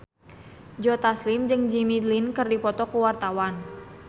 Joe Taslim jeung Jimmy Lin keur dipoto ku wartawan